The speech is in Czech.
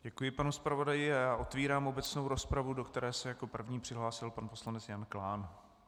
Děkuji panu zpravodaji a otevírám obecnou rozpravu, do které se jako první přihlásil pan poslanec Jan Klán.